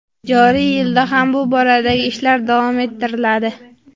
Joriy yilda ham bu boradagi ishlar davom ettiriladi.